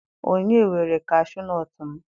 Onye were kashuu nọọtụ m?